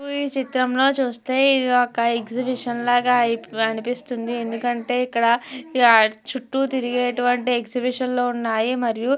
ఈ చిత్రం లో చూస్తుంటే ఇదొక ఎక్సిబిషన్ లాగా అనిపిస్తుంది ఎందుకంటే ఇక్కడ చుట్టూ తిరిగేటువంటి ఎక్సిబిషన్ లో ఉన్నాయి మరియు --